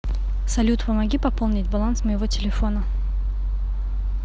салют помоги пополнить баланс моего телефона